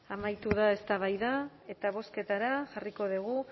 amaitu da eztabaida eta bozketara jarriko dugu